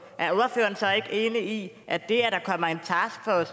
er ordføreren så ikke enig i at det